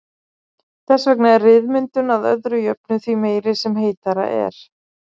Þess vegna er ryðmyndun að öðru jöfnu því meiri sem heitara er.